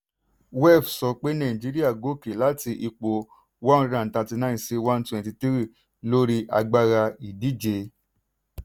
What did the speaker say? wef sọ pé nàìjíríà gòkè láti ipò one hundred and thirty nine sí one twenty three lórí agbára ìdíje.